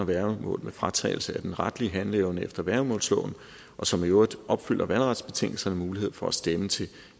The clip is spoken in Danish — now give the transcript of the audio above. værgemål med fratagelse af den retlige handleevne efter værgemålsloven og som i øvrigt opfylder valgretsbetingelserne mulighed for at stemme til